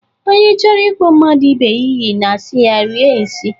Onye chọrọ ikpọ mmadụ ibe ya iyi ga-asị ya, "Rie nsị!"